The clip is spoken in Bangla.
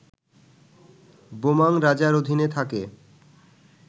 বোমাং রাজার অধীনে থাকে